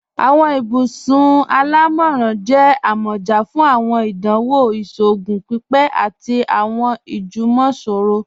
Awọn ibùsùn alámọ́ran jẹ̀ àmọ́já fún awọn ìdánwò ìṣòogùn pípé àti awọn ìjúmọ̀sọ̀rọ̀.